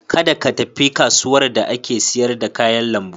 Kada ka tafi kasuwar da ake siyar da kayan lambu.